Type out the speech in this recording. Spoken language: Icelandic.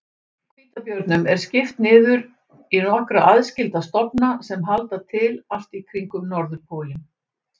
Hvítabjörnum er skipt niður í nokkra aðskilda stofna sem halda til allt í kringum norðurpólinn.